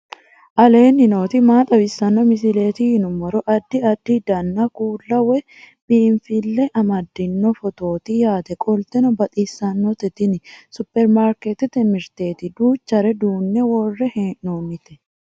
aleenni nooti maa xawisanno misileeti yinummoro addi addi dananna kuula woy biinsille amaddino footooti yaate qoltenno baxissannote tini superimaarikeetete mirteeti duuchare duunne worre hee'noonnite